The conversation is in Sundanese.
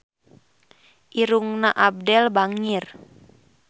Irungna Abdel bangir